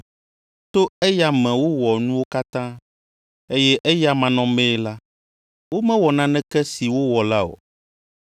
To eya me wowɔ nuwo katã, eye eya manɔmee la, womewɔ naneke si wowɔ la o.